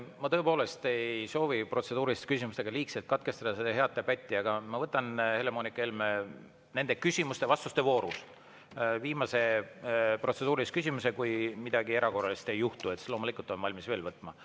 Ma tõepoolest ei soovi protseduuriliste küsimustega seda head debatti liigselt katkestada, aga ma võtan, Helle-Moonika Helme, küsimuste-vastuste voorus viimase protseduurilise küsimuse, kui midagi erakorralist ei juhtu – siis loomulikult olen valmis veel võtma.